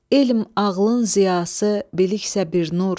Elm ağlın ziyası biliksə bir nur.